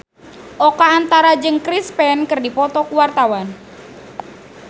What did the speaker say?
Oka Antara jeung Chris Pane keur dipoto ku wartawan